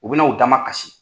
U bɛ na u damakasi.